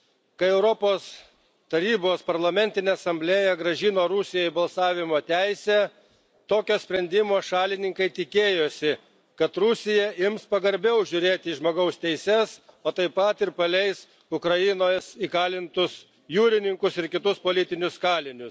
Kai Europos Tarybos Parlamentinė Asamblėja grąžino Rusijai balsavimo teisę, tokio sprendimo šalininkai tikėjosi, kad Rusija ims pagarbiau žiūrėti į žmogaus teises, o taip pat ir paleis Ukrainos įkalintus jūrininkus ir kitus politinius kalinius.